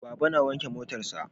Baba na wanke motar sa